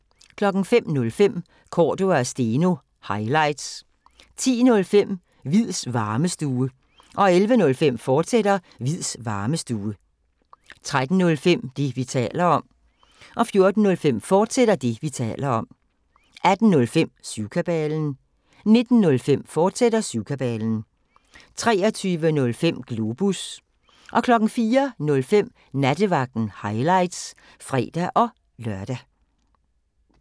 05:05: Cordua & Steno – highlights 10:05: Hviids Varmestue 11:05: Hviids Varmestue, fortsat 13:05: Det, vi taler om 14:05: Det, vi taler om, fortsat 18:05: Syvkabalen 19:05: Syvkabalen, fortsat 23:05: Globus 04:05: Nattevagten – highlights (fre-lør)